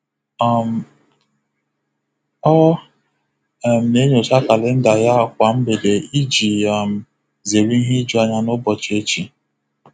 um Ọ um na-enyocha kalenda ya kwa mgbede iji um zere ihe ijuanya n'ụbochị echi.